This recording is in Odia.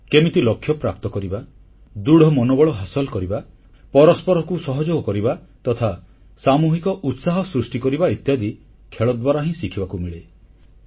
କେମିତି ଲକ୍ଷ୍ୟପ୍ରାପ୍ତ କରିବା ଦୃଢ଼ ମନୋବଳ ହାସଲ କରିବା ପରସ୍ପରକୁ ସହଯୋଗ କରିବା ତଥା ସାମୂହିକ ଉତ୍ସାହ ସୃଷ୍ଟି କରିବା ଇତ୍ୟାଦି ଖେଳ ଦ୍ୱାରା ହିଁ ଶିଖିବାକୁ ମିଳେ